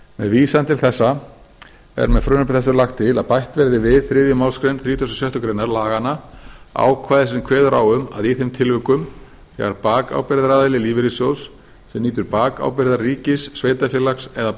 með vísan til þessa er með frumvarpi þessu lagt til að bætt verði við þriðju málsgrein þrítugustu og sjöttu grein laganna ákvæði sem kveður á um að í þeim tilvikum þegar bakábyrgðaraðili lífeyrissjóðs sem nýtur bakábyrgðar ríkis sveitarfélags eða